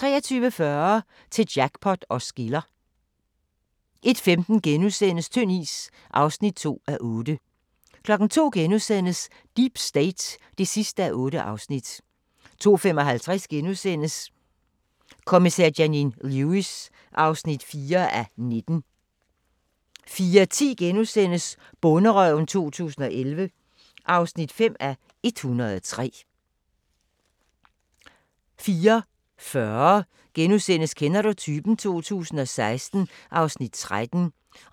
23:40: Til jackpot os skiller 01:15: Tynd is (2:8)* 02:00: Deep State (8:8)* 02:55: Kommissær Janine Lewis (4:19)* 04:10: Bonderøven 2011 (5:103)* 04:40: Kender du typen? 2016 (Afs. 13)*